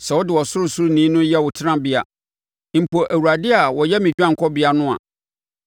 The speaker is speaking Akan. Sɛ wode Ɔsorosoroni no yɛ wo tenabea, mpo Awurade a ɔyɛ me dwanekɔbea no a,